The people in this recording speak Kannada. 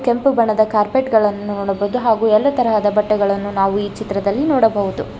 ಕೆಂಪು ಬಣ್ಣದ ಕಾರ್ಪೃಟ್ಗಳನ್ನು ನೋಡಬಹುದು ಹಾಗು ಎಲ್ಲ ತರಹದ ಬಟ್ಟೆಗಳನ್ನು ನಾವು ಈ ಚಿತ್ರದಲ್ಲಿ ನೋಡಬಹುದು.